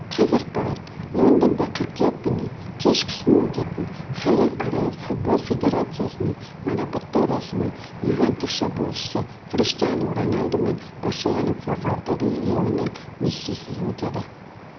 қазақпарат лондонда қыркүйек күні кешкісін өтетін халықаралық футбол федерациясының марапаттау рәсімі ювентус шабуылшысы криштиану роналду мен барселона форварды лионель мессисіз өтеді